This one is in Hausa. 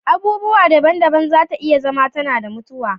Abubuwa daban-daban za ta iya zama tana da mutuwa